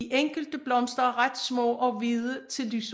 De enkelte blomster er ret små og hvide til lyserøde